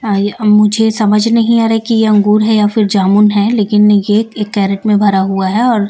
अब मुझे समझ नहीं आ रहा कि ये अंगूर है या फिर जामुन है लेकिन ये एक कैरेट में भरा हुआ है और--